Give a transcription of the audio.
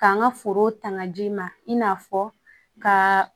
K'an ka forow ta ka di i ma i n'a fɔ ka